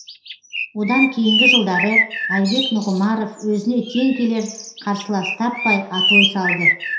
одан кейінгі жылдары айбек нұғымаров өзіне тең келер қарсылас таппай атой салды